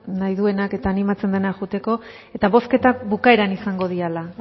nahi duenak eta animatzen denak joateko eta bozketak bukaeran izango diala